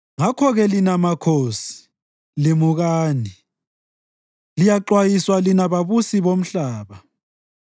Ngakho-ke lina makhosi, limukani, liyaxwayiswa lina babusi bomhlaba.